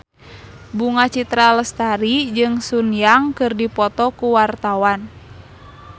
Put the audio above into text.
Bunga Citra Lestari jeung Sun Yang keur dipoto ku wartawan